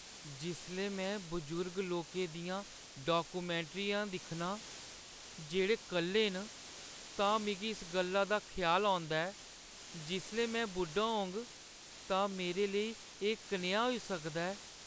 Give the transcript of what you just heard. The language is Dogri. जिसलै में बजुर्ग लोकें दियां डाक्युमैंटरियां दिक्खनी आं, जेह्‌ड़े कल्ले न, तां मिगी इस गल्ला दा ख्याल औंदा ऐ जे जिसलै में बुड्ढी होङ तां मेरे लेई एह् कनेहा होई सकदा ऐ।